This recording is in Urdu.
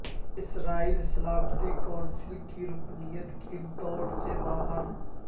اسرائیل سلامتی کونسل کی رکنیت کی دوڑ سے باہر